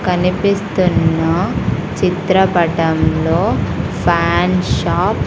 కనిపిస్తున్న చిత్రపటంలో fan shop --